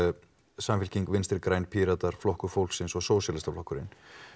samfylking vinstri græn Píratar Flokkur fólksins og Sósíalistaflokkurinn